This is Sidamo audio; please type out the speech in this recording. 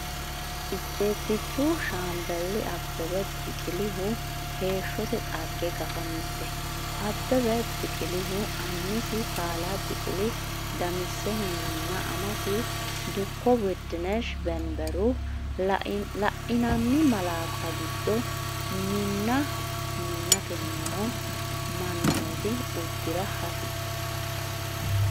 Ejjeettichu Shaambeli Abbebe Biqilihu heeshshote dhagge Gafa Mite Abbebe Biqilihu annisi kalaa Biqila Damissehunninna amasi dukko Wud dinesh Beneberu, La’inanni malaatta giddo minna mintanni noo mannooti uddi’ra hasi?